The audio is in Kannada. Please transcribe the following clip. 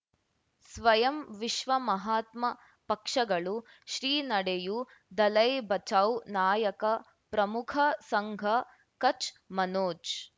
ಸ್ವಯಂ ವಿಶ್ವ ಮಹಾತ್ಮ ಪಕ್ಷಗಳು ಶ್ರೀ ನಡೆಯೂ ದಲೈ ಬಚೌ ನಾಯಕ ಪ್ರಮುಖ ಸಂಘ ಕಚ್ ಮನೋಜ್